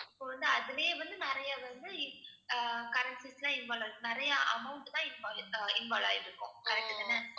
இப்ப வந்து அதுலயே வந்து நிறைய வந்து இ~ அஹ் currencies எல்லாம் involve ஆயிருக்கும் நிறைய amount தான் invol~ அஹ் involve ஆயிருக்கும் correct தான